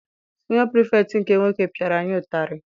Siniọ Pirifetktị nke nwoke piara anyị ụtarị.